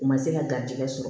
U ma se ka garijigɛ sɔrɔ